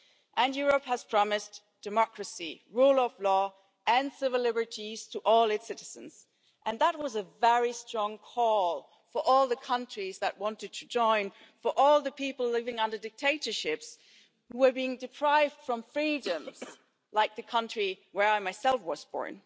And Europe has promised democracy, rule of law and civil liberties to all its citizens, and that was a very strong call for all the countries that wanted to join, for all the people living under dictatorships who were being deprived of freedoms like the country where I myself was born.